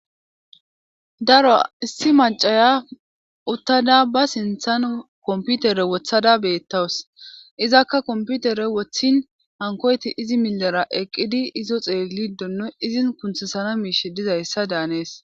Daro issi macaya uttada ba sinthan komputere wothada beettawus izakka komputere wothin hankoyti izi milera eqqidi izo xeelidonno izin kunthisana miish dizayssa daanees.